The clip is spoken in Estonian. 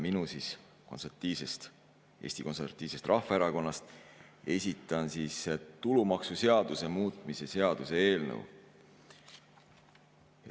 Koos kolleegiga Eesti Konservatiivsest Rahvaerakonnast esitan tulumaksuseaduse muutmise seaduse eelnõu.